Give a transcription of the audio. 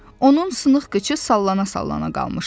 Onun sınıq qıçı sallana-sallana qalmışdı.